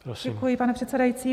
Děkuji, pane předsedající.